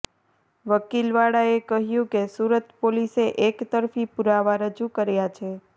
વકીલ વાળાએ કહ્યું કે સુરત પોલીસે એક તરફી પુરાવા રજૂ કર્યા છે